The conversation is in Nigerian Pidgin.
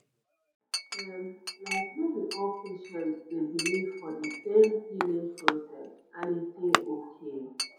um like no be all patients dey believe for de same healing process and e dey okay